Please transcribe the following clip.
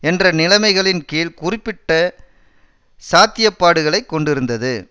என்ற நிலைமைகளின் கீழ் குறிப்பிட்ட சாத்தியப்பாடுகளை கொண்டிருந்தது